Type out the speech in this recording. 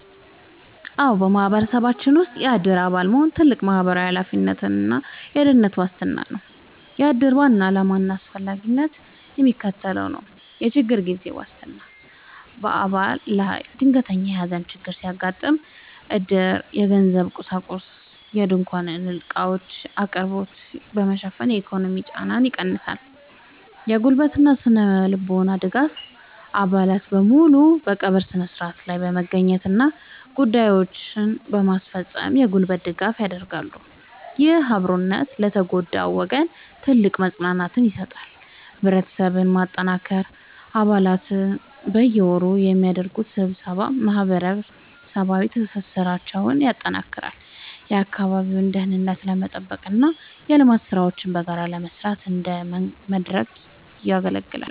አዎ፣ በማህበረሰባችን ውስጥ የዕድር አባል መሆን ትልቅ ማህበራዊ ኃላፊነትና የደህንነት ዋስትና ነው። የዕድር ዋና ዓላማና አስፈላጊነት የሚከተለው ነው፦ የችግር ጊዜ ዋስትና፦ በአባል ላይ ድንገተኛ የሐዘን ችግር ሲያጋጥም፣ ዕድር የገንዘብና የቁሳቁስ (ድንኳንና ዕቃዎች) አቅርቦትን በመሸፈን የኢኮኖሚ ጫናን ይቀንሳል። የጉልበትና ስነ-ልቦናዊ ድጋፍ፦ አባላት በሙሉ በቀብሩ ሥነ ሥርዓት ላይ በመገኘትና ጉዳዮችን በማስፈጸም የጉልበት ድጋፍ ያደርጋሉ። ይህ አብሮነት ለተጎዳው ወገን ትልቅ መጽናናትን ይሰጣል። ህብረትን ማጠናከር፦ አባላት በየወሩ በሚያደርጉት ስብሰባ ማህበራዊ ትስስራቸውን ያጠናክራሉ፤ የአካባቢውን ደህንነት ለመጠበቅና የልማት ሥራዎችን በጋራ ለመስራት እንደ መድረክ ያገለግላል።